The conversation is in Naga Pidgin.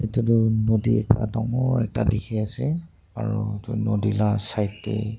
edu tu nodi ekta dangor ekta dikhiase aro edu nodi la side tae.